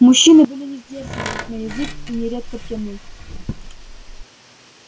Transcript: мужчины были несдержанны на язык и нередко пьяны